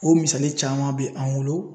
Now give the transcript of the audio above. O misali caman be an bolo